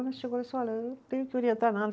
Ela chegou e disse, olha, eu não tenho que orientar nada.